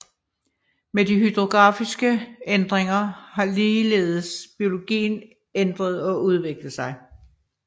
Med de hydrografiske ændringer har ligeledes biologien ændret og udviklet sig